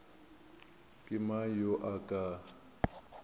ke mang yo a ka